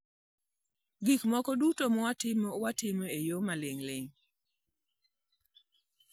Gik moko duto ma watimo, watimo e yo ma ling'ling'.